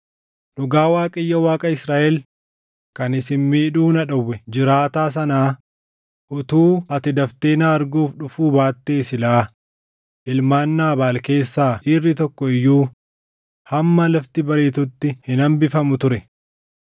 Dhugaa Waaqayyo Waaqa Israaʼel kan isin miidhuu na dhowwe jiraataa sanaa, utuu ati daftee na arguuf dhufuu baattee silaa ilmaan Naabaal keessaa dhiirri tokko iyyuu hamma lafti bariitutti hin hambifamu ture.”